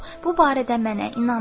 Bu barədə mənə inanın.